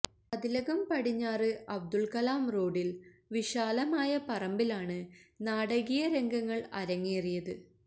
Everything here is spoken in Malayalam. മതിലകം പടിഞ്ഞാറ് അബ്ദുൽകലാം റോഡിൽ വിശാലമായ പറമ്പിലാണ് നാടകീയ രംഗങ്ങൾ അരങ്ങേറിയത്